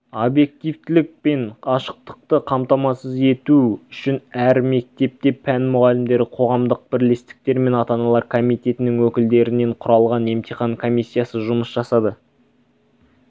объективтілік пен ашықтықты қамтамасыз ету үшін әр мектепте пән мұғалімдері қоғамдық бірлестіктер мен ата-аналар комитетінің өкілдерінен құралған емтихан комиссиясы жұмыс жасады